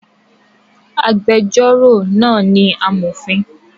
Agbẹjọ́rò náà ni amọ̀fin